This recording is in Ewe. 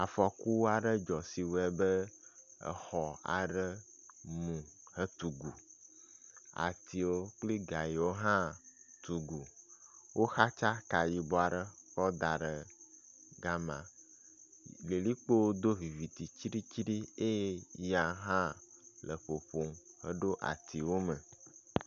Afɔku aɖe dzɔ si wɔe be exɔ aɖe mu hetugu. Atiwo kple gayiwo hã tu gu. Woxatsa ka yibɔ aɖe kɔ da ɖe gama. Lilikpo do vivitsitsiɖitsiɖi eye ya hã le ƒoƒom eɖo atiwo me.